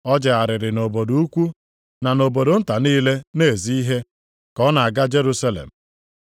O jegharịrị nʼobodo ukwu na nʼobodo nta niile na-ezi ihe, ka ọ na-aga Jerusalem.